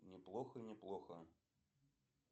неплохо неплохо